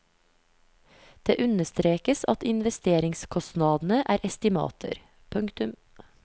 Det understrekes at investeringskostnadene er estimater. punktum